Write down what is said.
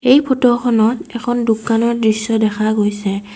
এই ফটোখনত এখন দোকানৰ দৃশ্য দেখা গৈছে।